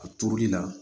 A turuli la